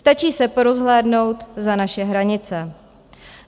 Stačí se porozhlédnout za naše hranice.